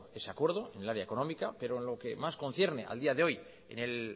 ese acuerdo en el área económica pero en lo que más concierne al día de hoy en el